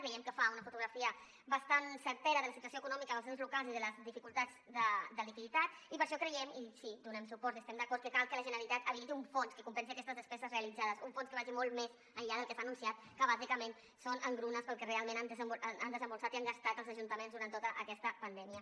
veiem que fa una fotografia bastant certa de la situació econòmica dels ens locals i de les dificultats de liquiditat i per això creiem i sí hi donem suport hi estem d’acord que cal que la generalitat habiliti un fons que compensi aquestes despeses realitzades un fons que vagi molt més enllà del que s’ha anunciat que bàsicament són engrunes pel que realment han desemborsat i han gastat els ajuntaments durant tota aquesta pandèmia